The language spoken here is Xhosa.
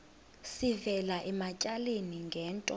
sivela ematyaleni ngento